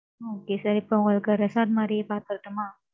Okay sir இப்ப உங்களுக்கு resort மாரியே பார்த்து தரட்டுமா